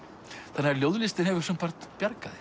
þannig að ljóðlistin hefur sumpart bjargað